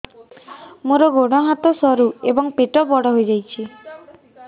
ମୋର ଗୋଡ ହାତ ସରୁ ଏବଂ ପେଟ ବଡ଼ ହୋଇଯାଇଛି